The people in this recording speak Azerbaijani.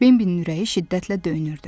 Binbinin ürəyi şiddətlə döyünürdü.